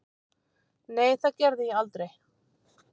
Nei, það gerði ég aldrei.